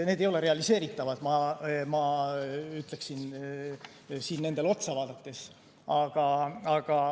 Need ei ole realiseeritavad, ütleksin ma neid vaadates.